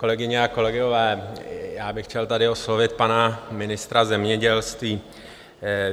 Kolegyně a kolegové, já bych chtěl tady oslovit pana ministra zemědělství.